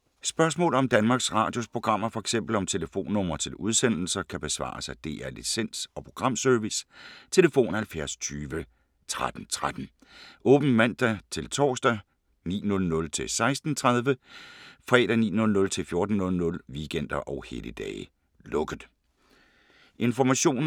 Spørgsmål om Danmarks Radios programmer, f.eks. om telefonnumre til udsendelser, kan besvares af DR Licens- og Programservice: tlf. 70 20 13 13, åbent mandag-torsdag 9.00-16.30, fredag 9.00-14.00, weekender og helligdage: lukket.